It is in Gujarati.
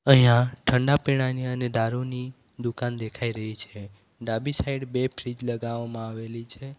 અહીંયા ઠંડા પીણાંની અને દારૂની દુકાન દેખાઈ રહી છે ડાબી સાઈડ બે ફ્રિજ લગાવવામાં આવેલી છે.